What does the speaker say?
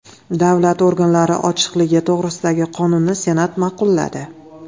Davlat organlari ochiqligi to‘g‘risidagi qonunni Senat ma’qulladi.